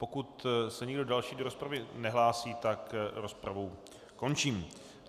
Pokud se nikdo další do rozpravy nehlásí, tak rozpravu končím.